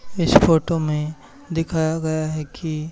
इस फोटो में दिखाया गया है कि--